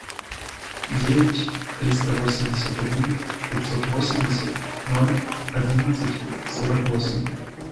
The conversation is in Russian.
девять триста восемьдесят один пятьсот восемьдесят ноль одиннадцать сорок восемь